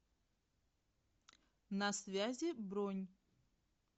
на связи бронь